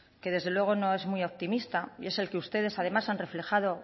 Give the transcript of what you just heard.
que desde luego no es muy optimista es el que ustedes además han reflejado